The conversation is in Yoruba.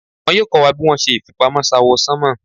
Wọ́n yóò kọ́ wa bí wón ṣe ìfipamọ́ s'áwọ̀sánmọ̀.